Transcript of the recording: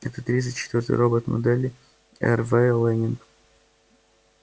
это тридцать четвёртый робот модели рв лэннинг